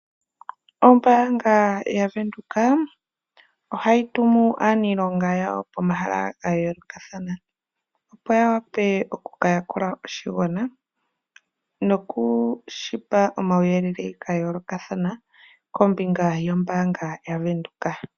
Ombaanga yaVenduka ohayi tumu aanilonga yawo pomahala ga yoolokathana, opo ya wa pe oku ka yakula oshigwana noku shi pa omauyelele ga yoolokathana kombinga yombaanga yaVenduka.